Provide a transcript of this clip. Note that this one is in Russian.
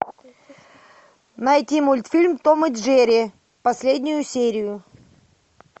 найти мультфильм том и джерри последнюю серию